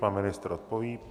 Pan ministr odpoví.